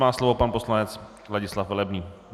Má slovo pan poslanec Ladislav Velebný.